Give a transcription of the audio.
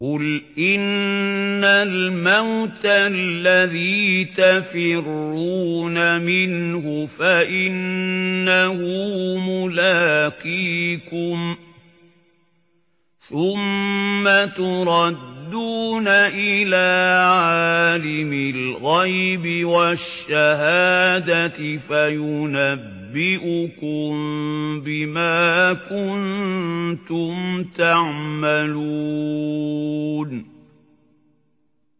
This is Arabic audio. قُلْ إِنَّ الْمَوْتَ الَّذِي تَفِرُّونَ مِنْهُ فَإِنَّهُ مُلَاقِيكُمْ ۖ ثُمَّ تُرَدُّونَ إِلَىٰ عَالِمِ الْغَيْبِ وَالشَّهَادَةِ فَيُنَبِّئُكُم بِمَا كُنتُمْ تَعْمَلُونَ